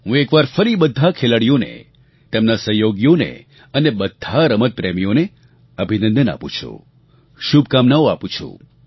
હું એક વાર ફરી બધા ખેલાડીઓને તેમના સહયોગીઓને અને બધા રમતપ્રેમીઓને અભિનંદન આપું છું શુભકામનાઓ આપું છું